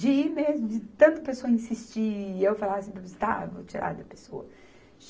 De ir mesmo, de tanto a pessoa insistir e eu falar assim, tá, vou tirar da pessoa.